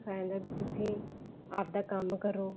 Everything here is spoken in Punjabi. ਸਿਖਾਇਆ ਜਾਂਦਾ ਵੀ ਤੁਸੀਂ ਆਪਦਾ ਕੰਮ ਕਰੋ